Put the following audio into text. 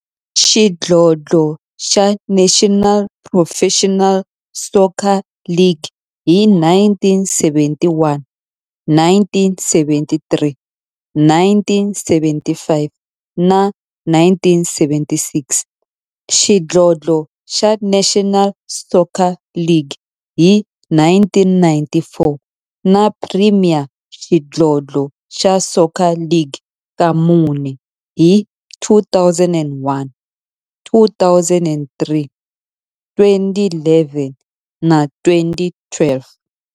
xidlodlo xa National Professional Soccer League hi 1971, 1973, 1975 na 1976, xidlodlo xa National Soccer League hi 1994, na Premier Xidlodlo xa Soccer League ka mune, hi 2001, 2003, 2011 na 2012.